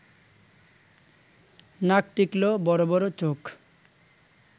নাক টিকলো, বড় বড় চোখ